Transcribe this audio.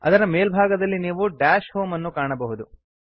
ಅದರ ಮೇಲ್ಭಾಗದಲ್ಲಿ ನೀವು ದಶ್ ಹೋಮ್ ಅನ್ನು ಕಾಣಬಹುದು